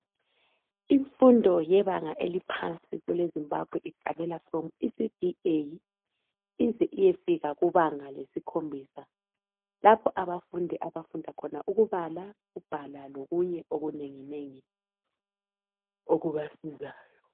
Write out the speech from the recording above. Imfundo yebanga eliphansi kwele zimbabwe iqalela from ECDA ize iyefika kubanga lesikhombisa lapho abafundi abafunda khona ukubala ukubhala lokunye okunenginengi okubasizayo .